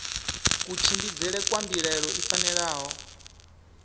kutshimbidzele kwa mbilaelo i fanela